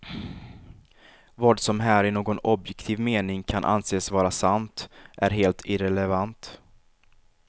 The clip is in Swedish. Vad som här i någon objektiv mening kan anses vara sant är helt irrelevant.